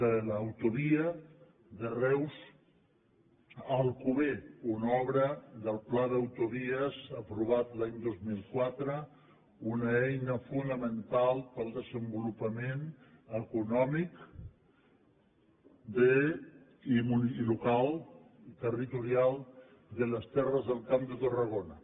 de l’autovia de reus a alcover una obra del pla d’autovies aprovat l’any dos mil quatre una eina fonamental per al desenvolupament econòmic local i territorial de les terres del camp de tarragona